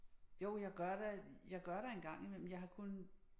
Jo jeg gør da jeg gør da en gang imellem jeg har kun